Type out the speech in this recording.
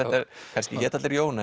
kannski hétu allir Jón